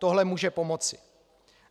Tohle může pomoci.